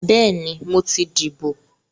Bẹ́ẹ̀ni, mo ti dìbò